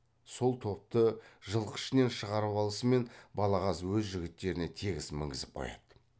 сол топты жылқы ішінен шығарып алысымен балағаз өз жігіттеріне тегіс мінгізіп қояды